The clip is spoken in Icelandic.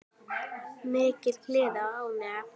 Mikil gleði og ánægja.